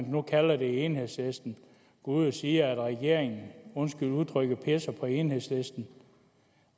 nu kalder det i enhedslisten går ud og siger at regeringen undskyld udtrykket pisser på enhedslisten